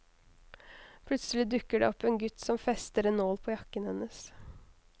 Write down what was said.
Plutselig dukker det opp en gutt som fester en nål på jakken hennes.